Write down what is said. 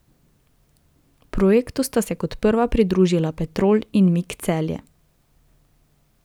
Projektu sta se kot prva pridružila Petrol in Mik Celje.